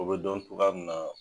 O bɛ dɔn tuga min na .